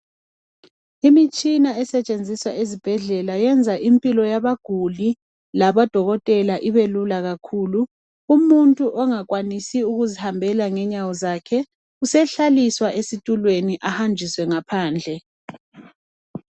Imitshina esetshenziswa ezibhedlela, yenza impilo yabaguli, labodokotela, ibelula kakhulu. Umuntu ongakwanisi ukuzihambela. Usehlaliswa esitulweni, ahanjiswe ngaphandle.